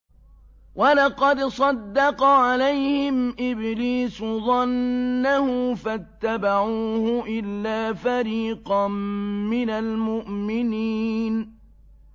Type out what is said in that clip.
وَلَقَدْ صَدَّقَ عَلَيْهِمْ إِبْلِيسُ ظَنَّهُ فَاتَّبَعُوهُ إِلَّا فَرِيقًا مِّنَ الْمُؤْمِنِينَ